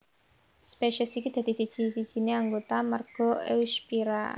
Spesies iki dadi siji sijine anggota marga Eusphyra